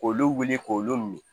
K'olu wuli k'olu min